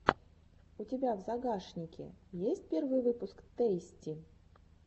у тебя в загашнике есть первый выпуск тэйсти